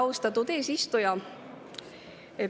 Austatud eesistuja!